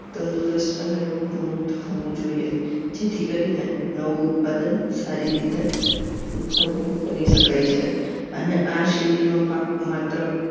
તંદુરસ્ત અને રોગમુક્ત હોવું જોઈએ જેથી કરીને નવું ઉત્પાદન સારી રીતે ઉત્પાદન કરી શકાય છે અને આ શેરડીનો પાક માત્ર